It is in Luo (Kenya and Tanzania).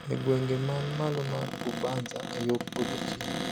E gwenge man malo mar Bubanza yo podho chieng`